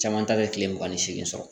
Caman ta bɛ kile mugan ni seegi sɔrɔ